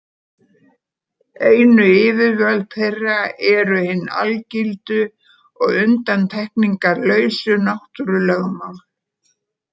Einu yfirvöld þeirra eru hin algildu og undantekningarlausu náttúrulögmál.